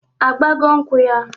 Agbago nkwụ ya?